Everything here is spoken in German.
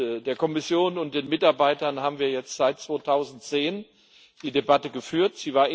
Mit der Kommission und den Mitarbeitern haben wir seit 2010 die Debatte geführt.